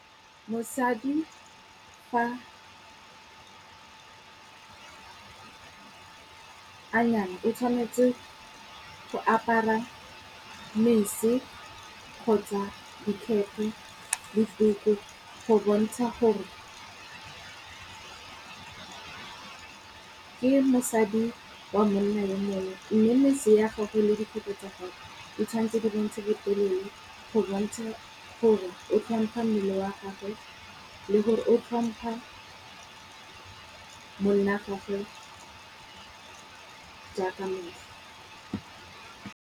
Mosadi fa a nyalwa o tshwanetse go apara mosese kgotsa dikete le tuku go bontsha gore ke mosadi wa monna yo mongwe, mme mesese ya gage le dikete tsa gagwe o tshwanetse di bontshe botelele, go bontsha gore o tlhompha mmele wa gagwe. Le gore o tlhompa monna wa gagwe jaaka